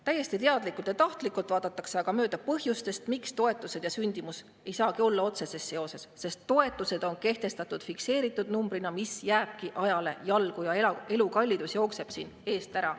Täiesti teadlikult ja tahtlikult vaadatakse aga mööda põhjustest, miks toetused ja sündimus ei saagi olla otseses seoses: sest toetused on kehtestatud fikseeritud numbrina, mis jääbki ajale jalgu, ja elukallidus jookseb eest ära.